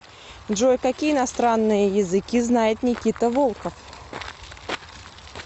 джой какие иностранные языки знает никита волков